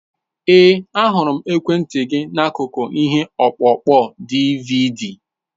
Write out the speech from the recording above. Ee, ahụrụ m ekwentị gị n'akụkụ ihe ọkpụkpọ DiiViiDi.